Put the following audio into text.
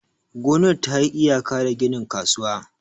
gonar ta yi iyaka da ginin kasuwa.